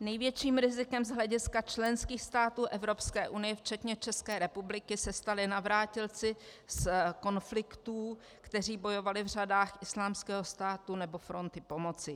Největším rizikem z hlediska členských států Evropské unie včetně České republiky se stali navrátilci z konfliktů, kteří bojovali v řadách Islámského státu nebo Fronty pomoci.